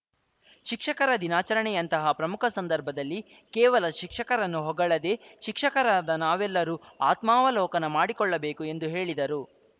ಶಿಕ್ಷಕರ ದಿನಾಚರಣೆಯಂತಹ ಪ್ರಮುಖ ಸಂದರ್ಭದಲ್ಲಿ ಕೇವಲ ಶಿಕ್ಷಕರನ್ನು ಹೊಗಳದೇ ಶಿಕ್ಷಕರಾದ ನಾವೆಲ್ಲರೂ ಆತ್ಮಾವಲೋಕನ ಮಾಡಿಕೊಳ್ಳಬೇಕು ಎಂದು ಹೇಳಿದರು